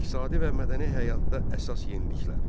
İqtisadi və mədəni həyatda əsas yeniliklər.